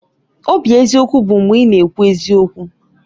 Obi eziokwu bụ mgbe ị na-ekwu eziokwu